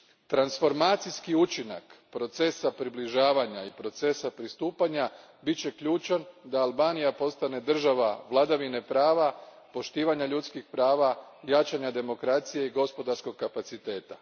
Transformacijski učinak procesa približavanja i procesa pristupanja bit će ključan da Albanija postane država vladavine prava, poštivanja ljudskih prava, jačanja demokracije i gospodarskog kapaciteta.